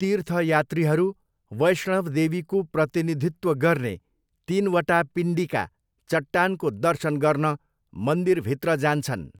तीर्थयात्रीहरू वैष्णव देवीको प्रतिनिधित्व गर्ने तिनवटा पिण्डिका, चट्टानको दर्शन गर्न मन्दिरभित्र जान्छन्।